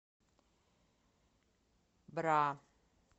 бра